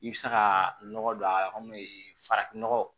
I bɛ se ka nɔgɔ don a yɔrɔ min farafin nɔgɔ